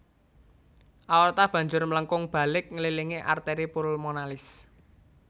Aorta banjur mlengkung balik ngililingi arteri pulmonalis